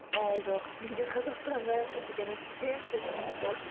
ой жоқ менде қазақстанға деген үлкен құлшыныс болды